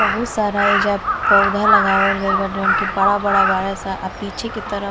बहुत सारा ऐजा पौधा लगावल गइल बाटे जोन की बड़ा-बड़ा बाड़ सन आ पीछे की तरफ --